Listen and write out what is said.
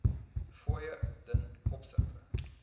fooie ten opsigte